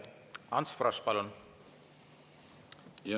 Ants Frosch, palun!